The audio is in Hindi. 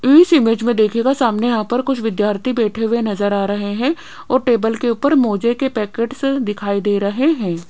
इस इमेज में देखिएगा सामने यहां पर कुछ विद्यार्थी बैठे हुए नजर आ रहे हैं और टेबल के ऊपर कुछ मोजे के पैकेट्स दिखाई दे रहे हैं।